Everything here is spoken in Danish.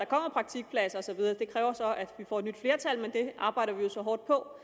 praktikpladser og så videre det kræver så at vi får et nyt flertal men det arbejder vi jo så hårdt på